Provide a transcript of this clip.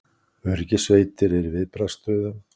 Öryggissveitir eru í viðbragðsstöðu